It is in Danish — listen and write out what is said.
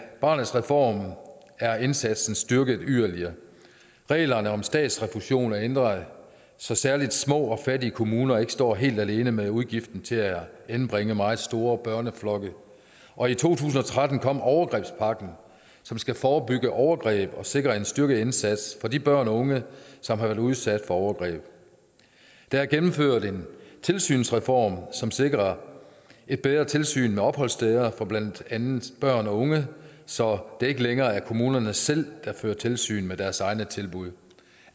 af barnets reform er indsatsen styrket yderligere reglerne om statsrefusion er ændret så særlig små og fattige kommuner ikke står helt alene med udgiften til at anbringe meget store børneflokke og i to tusind og tretten kom overgrebspakken som skal forebygge overgreb og sikre en styrket indsats for de børn og unge som har været udsat for overgreb der er gennemført en tilsynsreform som sikrer bedre tilsyn med opholdssteder for blandt andet børn og unge så det ikke længere er kommunerne selv der fører tilsyn med deres egne tilbud